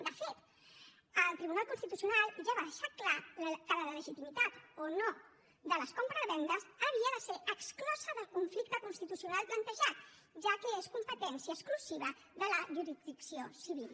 de fet el tribunal constitucional ja va deixar clar que la legitimitat o no de les compravendes havia de ser exclosa del conflicte constitucional plantejat ja que és competència exclusiva de la jurisdicció civil